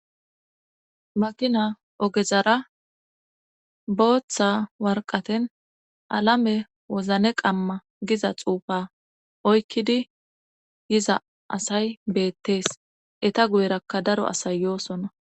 Makina ogezara booththa warqaten alame wozne qamma giza xuufa oykkidi yiza asay beettees eta guyerakka daro asayyoosonna